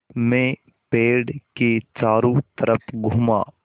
मैं पेड़ के चारों तरफ़ घूमा